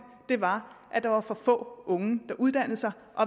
var at der var for få unge der uddannede sig